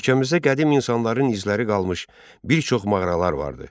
Ölkəmizdə qədim insanların izləri qalmış bir çox mağaralar vardır.